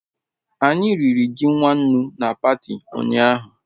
Anyi riri ji nwannu na pati unyahu